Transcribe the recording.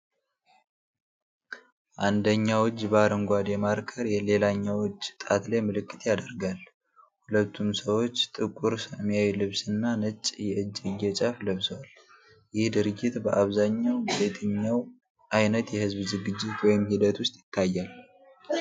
አንደኛው እጅ በአረንጓዴ ማርከር ሌላኛው እጅ ጣት ላይ ምልክት ያደርጋል። ሁለቱም ሰዎች ጥቁር ሰማያዊ ልብስ እና ነጭ የእጅጌ ጫፍ ለብሰዋል፤ ይህ ድርጊት በአብዛኛው በየትኛው ዓይነት የህዝብ ዝግጅት ወይም ሂደት ውስጥ ይታያል?